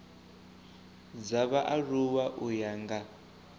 dza vhaaluwa u ya nga